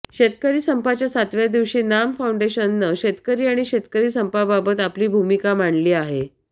शेतकरी संपाच्या सातव्या दिवशी नाम फाऊंडेशननं शेतकरी आणि शेतकरी संपाबाबत आपली भूमिका मांडली आहे